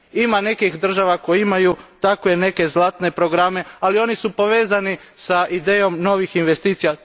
Ima nekih država koje imaju takve neke zlatne programe, ali oni su povezani s idejom novih investicija.